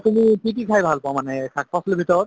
তুমি কি কি খাই ভাল পোৱা মানে শাক-পাচলিৰ ভিতৰত